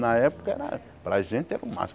Na época era, para a gente, era o máximo.